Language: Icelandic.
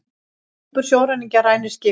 Hópur sjóræningja rænir skipi